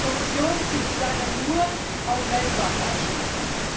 Die Kommission bezieht sich leider nur auf Weltbankeinstufung.